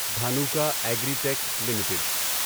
Dhanuka Agritech limited